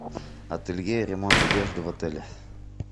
ателье ремонт одежды в отеле